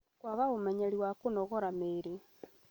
Kwaga ũmenyeri wa kũnogora mĩĩrĩ